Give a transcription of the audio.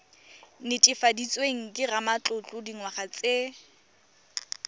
netefaditsweng ke ramatlotlo dingwaga tse